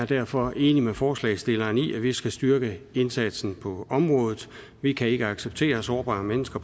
derfor enig med forslagsstillerne i at vi skal styrke indsatsen på området vi kan ikke acceptere at sårbare mennesker